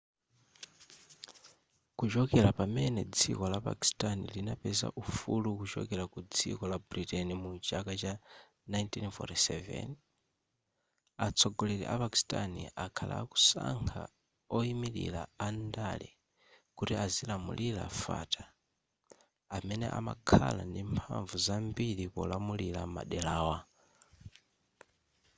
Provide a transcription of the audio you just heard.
kuchokela pamene dziko la pakistani linapeza ufulu kuchokela ku dziko la britain mu chaka cha 1947 atsogoleri a pakistani akhala akusankha oimilira a ndale kuti azilamulira fata amene amakhala ndi mphanvu zambiri polamulira ma dera wa